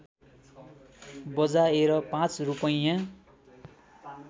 बजाएर पाँच रूपैयाँ